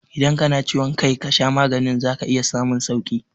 Idan ka na ciwon kai ka sha magani za ka iya samun sauƙi